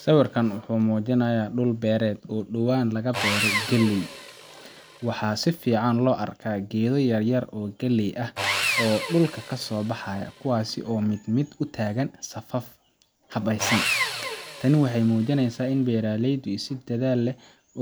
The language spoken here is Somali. Sawirkan waxumujinaya dul beered oo dawan laka beeray kaleey, waxa sufican lo arkah keetha yaryar kaleey aah oo dulka kasobaxayo kuwasi mid mid u tagan safafa habeeysan, taani waxamujineysah ini beeraleyda dathal